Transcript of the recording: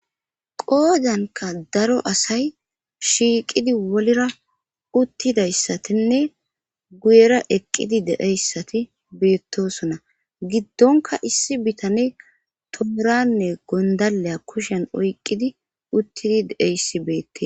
Qoodanka daro asay shiiqidi wolira uttidayssatinne guyera eqqidi deeyssati beettosona giddonka issi bitane tooranne gondaleya kushen oyqqidi uttidi deeyssi beette..